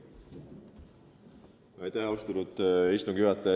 Austatud istungi juhataja!